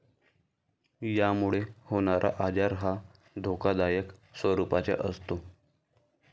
यामुळे होणारा आजार हा धोकादायक स्वरूपाचा असतो.